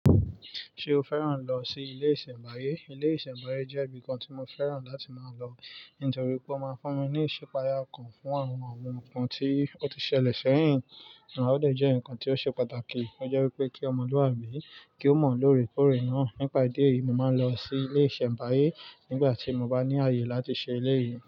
Ṣé o fẹ́ràn lọ sí ilé ìṣẹ̀mbáyé? Ilé ìṣẹ̀mbáyé jẹ́ ibi kan tí mo fẹ́ràn láti máa lọ nítorí pé ó máa ń fún mi ní ìṣipaya kan fún àwọn ohun kan tí ó ti ṣẹlẹ̀ sẹ́yìn. O dẹ jẹ́ nǹkan tí ó ṣe pàtàkì, ó jẹ́ wípé kí ọmọlúàbí kí ó mọ lóore kóòrè náà. Nípa ìdí èyí, mo máa ń lọ sí ilé ìṣẹ̀mbáyé nígbà tí mo bá ní ààyè láti ṣe eléyìí.